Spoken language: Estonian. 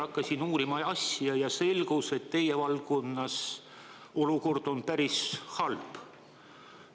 Hakkasin uurima ja asja ja selgus, et teie valdkonnas olukord on päris halb.